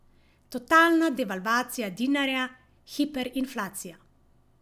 Totalna devalvacija dinarja, hiperinflacija.